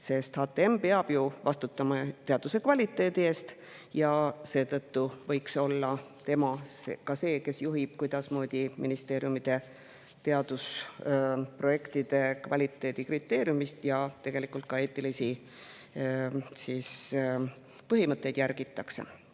Kuna HTM peab vastutama teaduse kvaliteedi eest, võiks olla tema ka see, kes juhib, kuidasmoodi ministeeriumide teadusprojektides kvaliteedikriteeriumeid ja ka eetilisi põhimõtteid järgitakse.